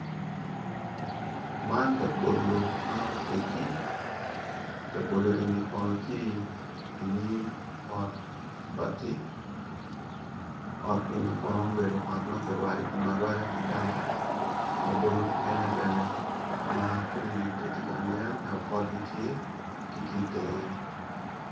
Man, labolo ma otegi, labolo eni kono ti inyim ot bati, ot eni kono obedo ot ma girwado kom arwada ki daba, labolo mukene bene makumgi pe tye ka nen ento potgi tye ti ka nen, ti ki itenge.